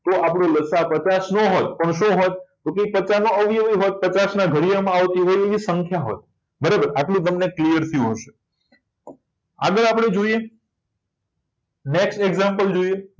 તો આપણો લસાઅ પચાસન હોય શું હોત તો કે પચાના અવયવી હોત પચાસના ઘડિયામાં આવતી એવી સંખ્યા હોય આટલો તમને clear થયું હશે આગળ આપણે જોઈએ next example જોઈએ